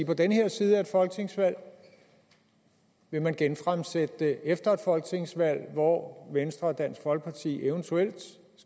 på den her side af et folketingsvalg vil man genfremsætte det efter et folketingsvalg hvor venstre og dansk folkeparti eventuelt